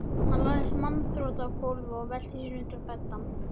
Hann lagðist magnþrota á gólfið og velti sér undir beddann.